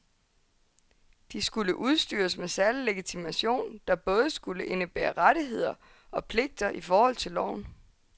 De skulle udstyres med særlig legitimation, der både skulle indebære rettigheder og pligter i forhold til loven.